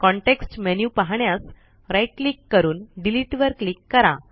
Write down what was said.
context menu पाहण्यास right click करून delete वर क्लिक करा